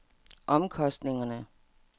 omkostninger